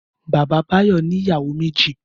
Bàbá Báyọ̀ ní ìyàwó méjì.